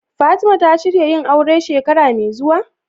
Fatima ta shirya yin aure shekara me zuwa?